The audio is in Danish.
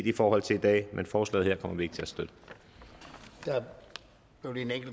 i forhold til i dag men forslaget her